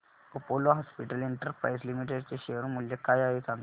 Apollo hospitals enterprise limited चे share मूल्य काय आहे सांगा